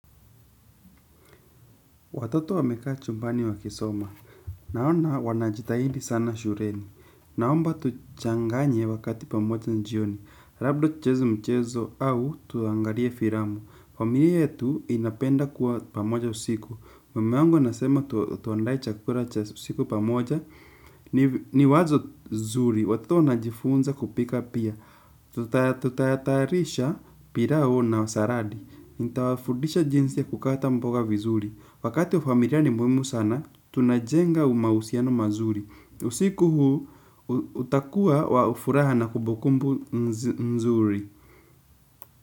Watoto wamekaa chumbani wakisoma. Naona wanajitahidi sana shuleni. Naomba tuchanganye wakati pamoja jioni. Labda tucheze mchezo au tuangalie filamu. Familia yetu inapenda kuwa pamoja usiku. Mama yangu anasema tuandae chakula cha usiku pamoja. Ni wazo zuri. Watoto wanajifunza kupika pia. Tutayatarisha pilau na saladi. Nitawafundisha jinsi ya kukata mboga vizuri. Wakati huu familia ni muhimu sana, tunajenga umahusiano mazuri. Usiku huu, utakuwa wa furaha na kumbukumbu nzuri.